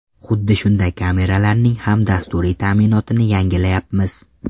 Xuddi shunday kameralarning ham dasturiy ta’minotini yangilayapmiz.